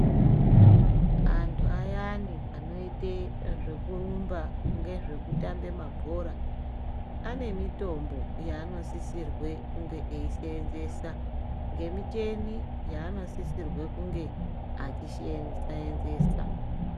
Andu ayani anoite zveku rumba ngezveku tambe mabhora ane mitombo yaanosisirwe kunge eisenzesa nge miteni yaano sisirwe kunge achisenzesa.